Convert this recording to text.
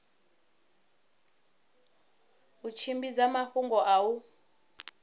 u tshimbidza mafhungo a u